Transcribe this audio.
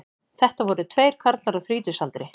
Þetta voru tveir karlar á þrítugsaldri